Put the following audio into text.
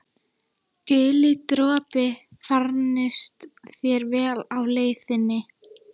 Guli dropi, farnist þér vel á leið þinni.